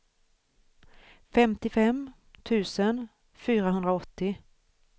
femtiofem tusen fyrahundraåttio